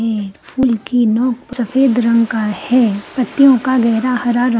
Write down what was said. full की नोक सफ़ेद रंग का है पत्तियों का गहरा हरा रंग--